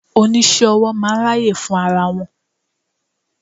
Oníṣẹ́-owó máa ń ráyè fún ara wọn.